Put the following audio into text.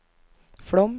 Flåm